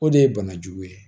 O de ye banajugu ye